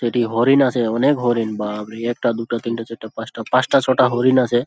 '' এটি হরিণ আছে অনেক হরিণ বাপরে একটা দুইটা তিনটা চারটা পাঁচটা পাঁচটা ছ''''টা হরিণ আছে। ''